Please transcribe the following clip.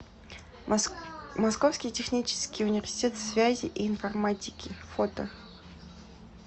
московский технический университет связи и информатики фото